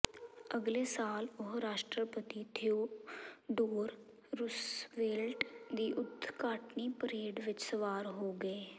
ਅਗਲੇ ਸਾਲ ਉਹ ਰਾਸ਼ਟਰਪਤੀ ਥੀਓਡੋਰ ਰੁਸਵੇਲਟ ਦੀ ਉਦਘਾਟਨੀ ਪਰੇਡ ਵਿਚ ਸਵਾਰ ਹੋ ਗਏ